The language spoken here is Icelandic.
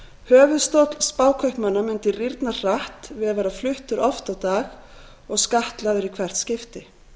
höfuðstóll spákaupmanna mundi rýrna hratt við að vera fluttur oft á dag og skattlagður í hvert skipti